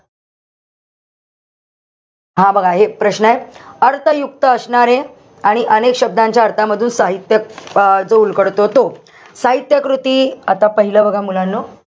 हा बघा एक प्रश्नय. अर्थयुक्त असणारे आणि अनेक शब्दांच्या अर्थामधून साहित्य अं जो उलगडतो तो. साहित्य कृती. आता पाहिलं बघा मुलांनो.